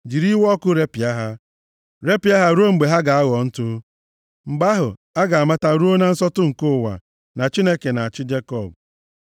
jiri iwe ọkụ repịa ha, repịa ha ruo mgbe ha ga-aghọ ntụ. Mgbe ahụ, a ga-amata ruo na nsọtụ nke ụwa, na Chineke na-achị Jekọb.